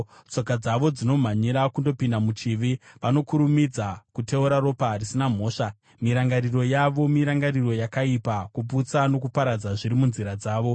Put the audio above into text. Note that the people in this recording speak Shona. Tsoka dzavo dzinomhanyira kundopinda muchivi; vanokurumidza kuteura ropa risina mhosva. Mirangariro yavo mirangariro yakaipa; kuputsa nokuparadza zviri munzira dzavo.